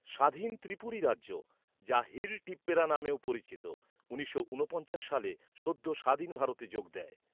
স্বাধীন ত্রিপুরি রাজ্য, যা হিল টিপ্পেরা নামেও পরিচিত, উনিশশো ঊনপঞ্চাশ সালে সদ্য স্বাধীন ভারতে যোগ দেয়।